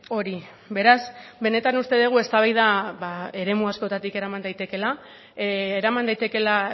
hori beraz benetan uste dugu eztabaida eremu askotik eraman daitekeela eraman daitekeela